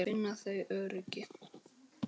Þá finna þau öryggi.